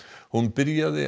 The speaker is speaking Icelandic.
hún byrjaði